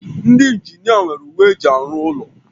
Ndị injinia nwere uwe eji arụ ụlọ